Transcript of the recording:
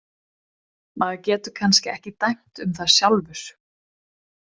Maður getur kannski ekki dæmt um það sjálfur.